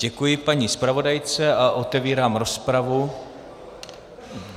Děkuji paní zpravodajce a otevírám rozpravu.